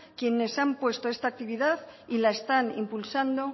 quienes han puesto esta actividad y la están impulsando